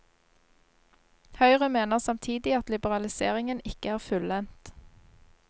Høyre mener samtidig at liberaliseringen ikke er fullendt.